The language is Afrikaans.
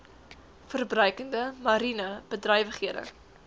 verbruikende mariene bedrywighede